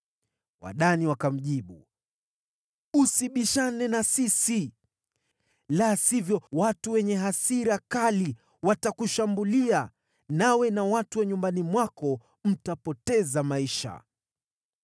Wadani wakamjibu, “Usibishane na sisi, la sivyo watu wenye hasira kali watakushambulia, nawe na watu wa nyumbani mwako mtapoteza maisha.”